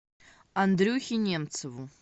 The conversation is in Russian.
андрюхе немцеву